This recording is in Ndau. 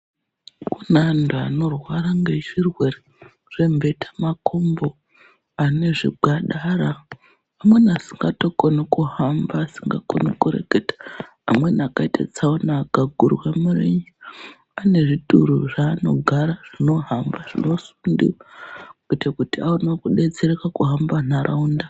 Kune antu anorwara ngezvirwere zvembeta makumbo , anezvigwadara amweni asingatokoni kuhamba asingakoni kureketa , amweni akaite tsaona akagurwe mirenje ane zvituru zvaanogara zvinohamba zvinosundiwa kuite kuti aone kudetsereka kuhamba nharaunda.